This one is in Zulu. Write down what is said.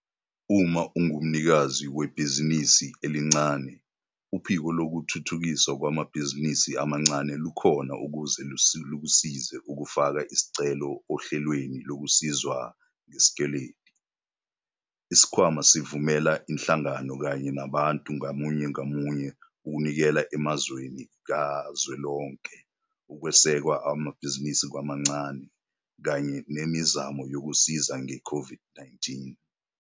Uma ungumnikazi webhizinisi elincane, Uphiko Lokuthuthukiswa Kwamabhizinisi Amancane lukhona ukuze lukusize ukufaka isicelo ohlelweni lokusizwa ngesikweletu. Isikhwama sivumela izinhlangano kanye nabantu ngamunye ngamunye ukunikela emzamweni kazwelonke ukweseka amabhizinisi amancane kanye nemizamo yokusiza nge-COVID-19.